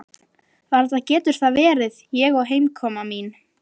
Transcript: Varla getur það verið ég og heimkoma mín.